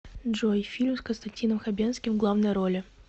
джой фильм с константином хабенским в главной роли